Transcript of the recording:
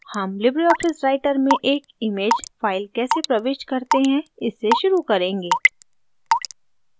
हम LibreOffice writer में एक image फाइल कैसे प्रविष्ट करते हैं इससे शुरू करेंगे